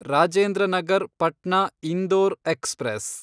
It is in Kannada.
ರಾಜೇಂದ್ರ ನಗರ್ ಪಟ್ನಾ ಇಂದೋರ್ ಎಕ್ಸ್‌ಪ್ರೆಸ್